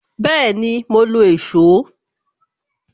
Bẹẹni, mo lo èsó